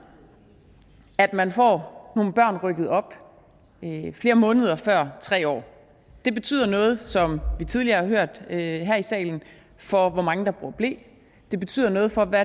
at man får nogle børn rykket op flere måneder før tre år det betyder noget som vi tidligere har hørt her i salen for hvor mange der bruger ble det betyder noget for hvad